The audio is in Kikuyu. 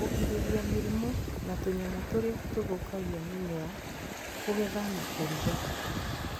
Kũgirĩrĩria mĩrimũ na tũnyamũ tũrĩa tũthũkagia mĩmera Kũgetha na kũrũga